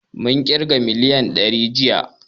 Mun ƙirga miliyan dari jiya